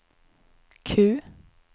Q